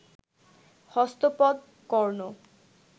হস্ত পদ, কর্ণ